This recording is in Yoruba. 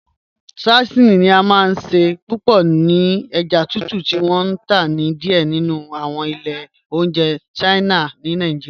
Sashimi ni à máa n ṣẹ pẹ̀lú èjá tùtù ti wọn n tá ni díẹ̀ nínu awọn ilẹ̀ ọ̀njẹ̀ Chinese ni Nàìjíríà.